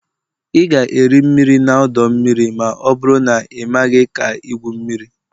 Ị ga-eri mmiri na ọdọ mmiri ma ọ bụrụ na ị maghị ka igwu mmiri